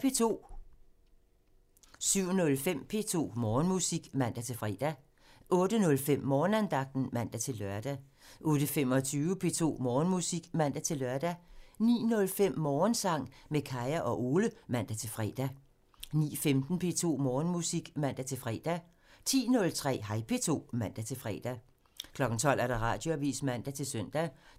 07:05: P2 Morgenmusik (man-fre) 08:05: Morgenandagten (man-lør) 08:25: P2 Morgenmusik (man-lør) 09:05: Morgensang med Kaya og Ole (man-fre) 09:15: P2 Morgenmusik (man-fre) 10:03: Hej P2 (man-fre) 12:00: Radioavisen (man-søn)